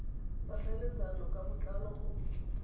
tsa tlhaeletsano ka botlalo go